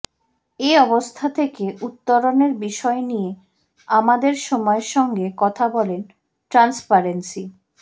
এ অবস্থা থেকে উত্তোরণের বিষয় নিয়ে আমাদের সময়ের সঙ্গে কথা বলেন ট্রান্সপারেন্সি